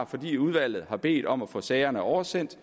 fordi udvalget har bedt om at få sagerne oversendt